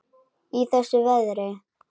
Í þessu veðri?